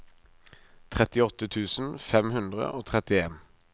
trettiåtte tusen fem hundre og trettien